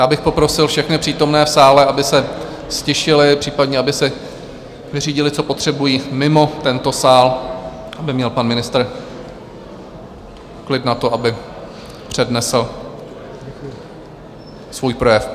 Já bych poprosil všechny přítomné v sále, aby se ztišili, případně aby si vyřídili, co potřebují, mimo tento sál, aby měl pan ministr klid na to, aby přednesl svůj projev.